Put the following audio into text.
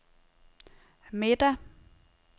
middag